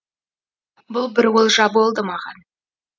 бұл бір олжа болды маған